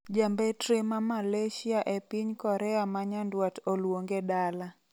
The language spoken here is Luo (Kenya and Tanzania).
Ja mbetre ma Malaysia epiny Korea ma nyandwat oluonge dala.